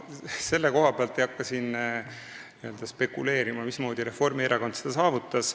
Selle koha pealt, mismoodi Reformierakond selle saavutas, ei hakka ma spekuleerima.